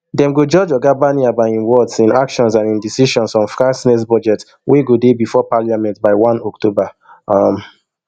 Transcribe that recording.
dem go judge oga barnier by im words im actions and im decisions on france next budget wey go dey before parliament by one october um